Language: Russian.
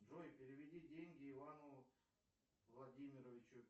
джой переведи деньги ивану владимировичу